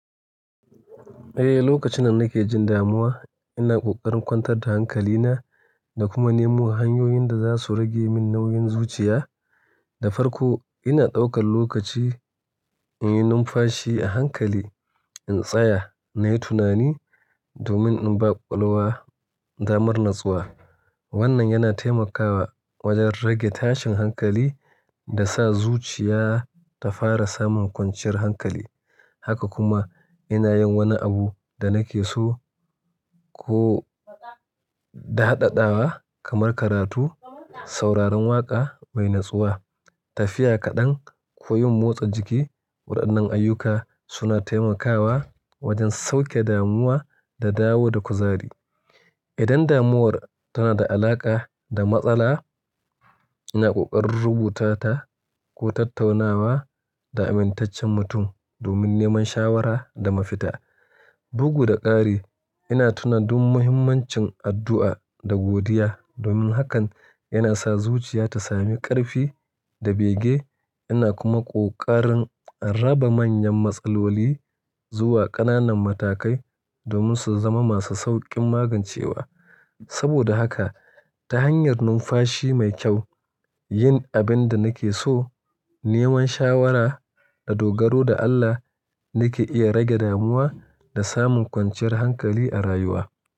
Eh, lokacin da nake jin damuwa, ina ƙoƙarin kwantar da hankalina da kuma nemo hanyoyin da za su rage min nauyin zuciya da farko. Ina ɗaukan lokaci in yi numfashi a hankali, in tsaya na yi tunani domin in baƙwaƙwalwa da mar natsuwa. Wannan yana taimakawa wajen rage tashin hankali da sa zuciya ta fara samun kwanciyar hankali. Haka kuma ina yin wani abu da nake so ko da ɗaɗawa kamar karatu, sauraron waƙa mai natsuwa, tafiya kaɗan ko yin motsa jiki. Waɗannan ayyuka suna taimakawa wajen sauke damuwa da dawo da kuzari. Idan damuwar tana da alaƙa da matsala, ina ƙoƙarin rubuta ta ko tattaunawa da amintaccen mutum domin neman shawara da mafita. Bugu da ƙari, ina tuna duk muhimmancin addu'a da godiya domin hakan yana sa zuciya ta sami ƙarfi da bege. Ina kuma ƙoƙarin raba manyan matsaloli zuwa ƙananan matakai domin su zama masu sauƙin magancewa. Saboda haka ta hanyar numfashi mai kyau, yin abin da nake so, neman shawara da dogaro da Allah, nake iya rage damuwa da samun kwanciyar hankali a rayuwa.